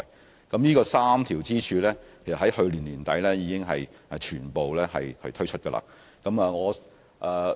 事實上，這3條支柱已於去年年底全面推出。